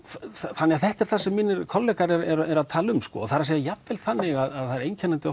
þannig að þetta er það sem mínir kollegar eru að tala um það er að segja jafnvel þannig að það er einkennandi